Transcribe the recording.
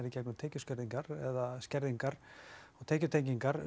í gegnum tekjuskerðingar eða skerðingar og tekjutengingar